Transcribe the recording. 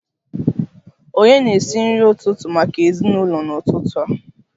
Ònye na-esi nri ụtụtụ maka ezinụlọ n'ụtụtụ a?